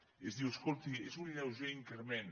i es diu escolti és un lleuger increment